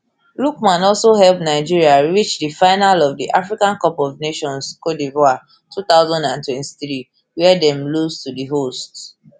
lookman also help nigeria reach di final of di africa cup of nations cote divoire two thousand and twenty-three wia dem lose to di hosts